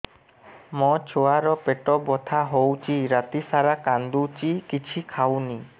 ମୋ ଛୁଆ ର ପେଟ ବଥା ହଉଚି ରାତିସାରା କାନ୍ଦୁଚି କିଛି ଖାଉନି